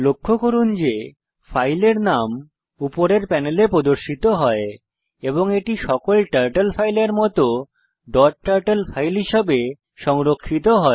লক্ষ্য করুন ফাইলের নাম উপরের প্যানেলে প্রদর্শিত হয় এবং এটি সকল টার্টল ফাইলের মত ডট টার্টল ফাইল হিসেবে সংরক্ষিত হয়